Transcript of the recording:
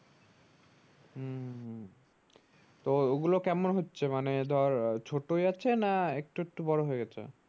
তো ওগুলো কেমন হচ্ছে মানে ধর ছোটই আছে না একটু একটু বড়ো হয়েগেছে